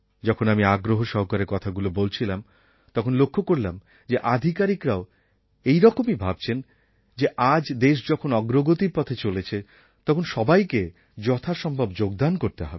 যখন আমি আগ্রহ সহকারে কথাগুলি বলেছিলাম তখন লক্ষ্য করলাম যে আধিকারিকরাও এই রকমই ভাবছেন যে আজ দেশ যখন অগ্রগতির পথে চলেছে তখন সবাইকে যথাসম্ভব যোগদান করতে হবে